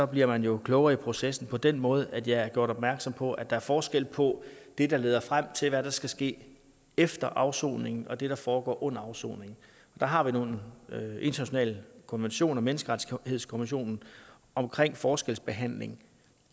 bliver man jo klogere i processen på den måde at jeg er gjort opmærksom på at der er forskel på det der leder frem til hvad der skal ske efter afsoningen og det der foregår under afsoningen der har vi nogle internationale konventioner menneskerettighedskonventionen bla omkring forskelsbehandling